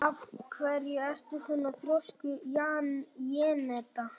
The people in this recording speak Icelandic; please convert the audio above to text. Af hverju ertu svona þrjóskur, Jenetta?